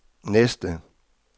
næste